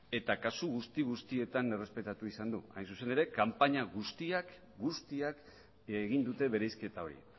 eta kasu guzti guztietan errespetatu izan du hain zuzen ere kanpaina guztiak egin dute bereizketa hori